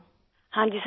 ہاں جی سر، ہاں جی